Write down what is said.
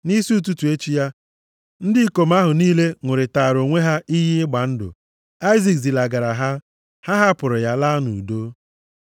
Nʼisi ụtụtụ echi ya, ndị ikom ahụ niile ṅụrịtaara onwe ha iyi ịgba ndụ. Aịzik zilagara ha, ha hapụrụ ya laa nʼudo.